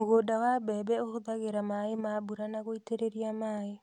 Mũgũnda wa mbembe ũhũthagĩra maaĩ ma mbura na gũitererea maaĩ.